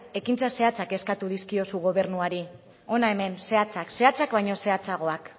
ekintza zehatzak eskatzen dizkiozu gobernuari hona hemen zehatzak zehatzak baino zehatzagoak